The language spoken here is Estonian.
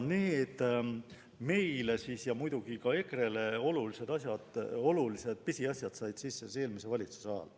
Need meile ja muidugi ka EKRE-le olulised pisiasjad said sisse eelmise valitsuse ajal.